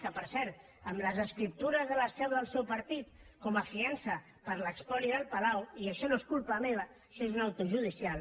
que per cert amb les escriptures de la seu del seu partit com a fiança per l’espoli del palau i això no és culpa meva això és una interlocutòria judicial